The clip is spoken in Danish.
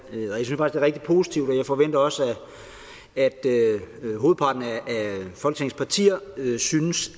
og er rigtig positivt og jeg forventer også at hovedparten af folketingets partier nu synes